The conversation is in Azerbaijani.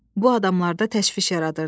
Bu adamda təşviş yaradırdı.